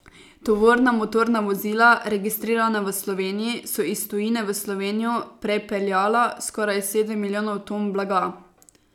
Tovorna motorna vozila, registrirana v Sloveniji, so iz tujine v Slovenijo prepeljala skoraj sedem milijonov ton blaga.